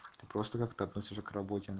ты просто как то относишься к работе